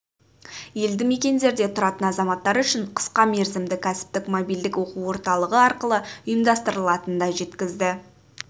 елді мекендерде тұратын азаматтар үшін қысқа мерзімді кәсіптік мобильдік оқу орталығы арқылы ұйымдастырылатынын да жеткізді